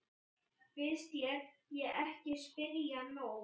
Finnst þér ég ekki spyrja nóg?